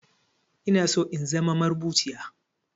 Inaso in zama marubuciya